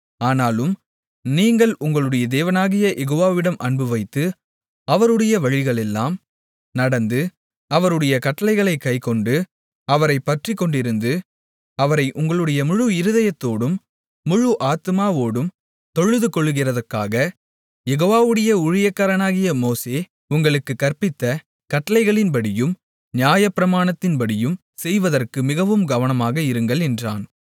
ஆனாலும் நீங்கள் உங்களுடைய தேவனாகிய யெகோவாவிடம் அன்புவைத்து அவருடைய வழிகளிலெல்லாம் நடந்து அவருடைய கட்டளைகளைக் கைக்கொண்டு அவரைப் பற்றிக்கொண்டிருந்து அவரை உங்களுடைய முழு இருதயத்தோடும் முழு ஆத்துமாவோடும் தொழுதுகொள்கிறதற்காக யெகோவாவுடைய ஊழியக்காரனாகிய மோசே உங்களுக்குக் கற்பித்த கட்டளைகளின்படியும் நியாயப்பிரமாணத்தின்படியும் செய்வதற்கு மிகவும் கவனமாக இருங்கள் என்றான்